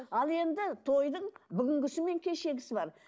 ал енді тойдың бүгінгісі мен кешегісі бар